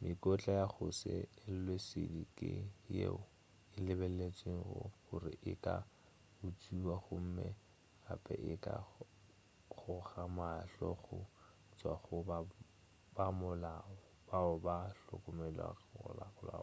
mekotla ya go se elwe šedi ke yeo e lebeletšwego gore e ka utšwiwa gomme gape e ka goga mahlo go tšwa go bamolao bao ba hlokomologago